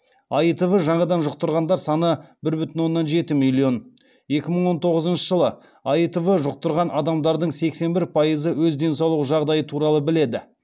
аитв жаңадан жұқтырғандар саны бір бүтін оннан жеті миллион екі мың он тоғызыншы жылы аитв жұқтырған адамдардың сексен бір пайызы өз денсаулық жағдайы туралы біледі